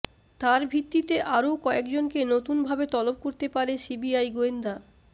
তার ভিত্তিতে আরও কয়েক জনকে নতুন ভাবে তলব করতে পারে সিবিআই গোয়েন্দা